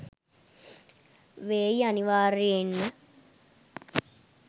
වේයි අනිවාර්යෙන්ම